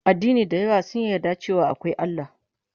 Addini da yawa sun yarda da cewa akwai Allah